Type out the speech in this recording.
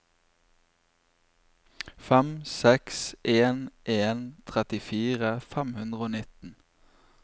fem seks en en trettifire fem hundre og nitten